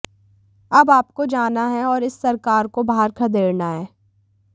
अब आपको जाना है और इस सरकार को बाहर खदेड़ना है